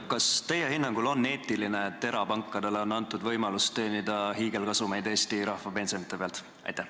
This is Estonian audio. Kas teie hinnangul on eetiline, et erapankadele on antud võimalus teenida hiigelkasumeid Eesti rahva pensionide pealt?